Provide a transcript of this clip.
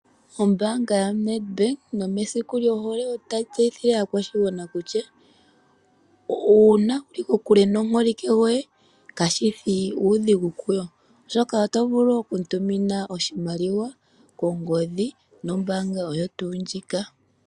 Ombaanga yoNedbank nomesiku lyohole otayi tseyithile aakwashigwana kutya unaa wuli kokule nomuholike goye kashishi uudhigu kuyo, oshoka oto vulu okumutumina oshimaliwa kongodhi nombaanga oyo tu ndjika.